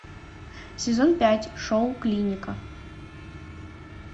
сезон пять шоу клиника